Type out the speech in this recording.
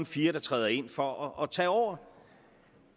fire der træder ind for at tage over